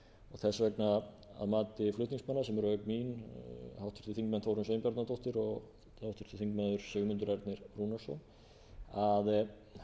þess vegna að mati flutningsmanna sem eru auk mín háttvirtir þingmenn þórunn sveinbjarnardóttir og háttvirtur þingmaður sigmundur ernir rúnarsson að